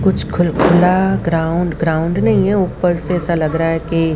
कुछ खुल खुला ग्राउंड ग्राउंड नहीं है ऊपर से ऐसा लग रहा है कि--